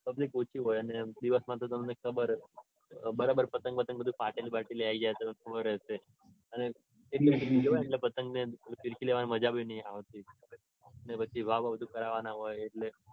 બ public ઓછી હોય. અને આમ દિવસમાં તો તમને ખબર જ છે. પતંગ બતંગ ફાટેલી બાટેલી આવી જાય તો થોડું રેસે. અને પતંગ ને ફિરકીને બધું લેવાની મજા બી નઈ આવતી. અને પછી ભાવ બાવ ને બધું કરવાનું હોય એટલે.